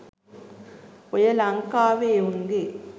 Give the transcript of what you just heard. ඔය ලංකාවෙ එවුන්ගෙ